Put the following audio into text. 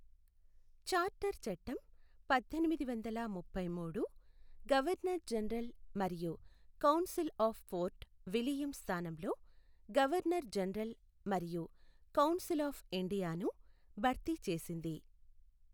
Charter చట్టం పద్దెనిమిదివందల ముప్పైమూడు, గవర్నర్ జనరల్ మరియు కౌన్సిల్ ఆఫ్ ఫోర్ట్ విలియం స్థానంలో గవర్నర్ జనరల్ మరియు కౌన్సిల్ ఆఫ్ ఇండియాను భర్తీ చేసింది.